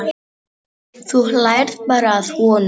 Þú hlærð bara að honum.